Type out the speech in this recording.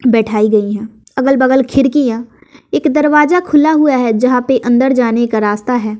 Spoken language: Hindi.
बैठाई गई हैं अगल बगल खिड़कियां एक दरवाजा खुला हुआ है जहां पे अंदर जाने का रास्ता है।